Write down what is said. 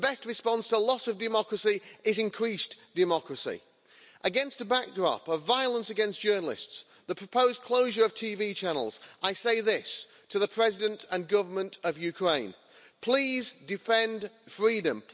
The best response to a loss of democracy is increased democracy. Against a backdrop of violence against journalists and the proposed closure of TV channels, I say this to the President and Government of Ukraine please defend freedom.